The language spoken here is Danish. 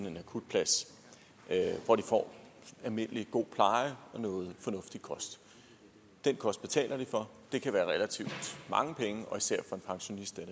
en akutplads hvor de får almindelig god pleje og noget fornuftig kost den kost betaler de for det kan være relativt mange penge og især for en pensionist er